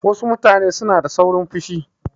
Wasu mutane suna da saurin fushi.